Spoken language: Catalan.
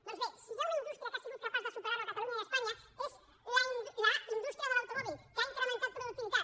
doncs bé si hi ha una indústria que ha sigut capaç de superar ho a catalunya i a espanya és la indústria de l’automòbil que ha incrementat productivitat